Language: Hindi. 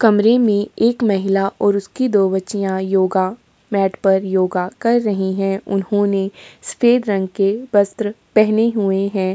कमरे में एक महिला और उसकी दो बच्चियां योगा मैट पर योगा कर रही हैं। उन्होंने सफेद रंग के वस्त्र पहने हुए हैं।